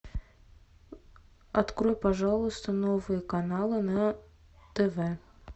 открой пожалуйста новые каналы на тв